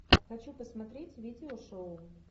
хочу посмотреть видеошоу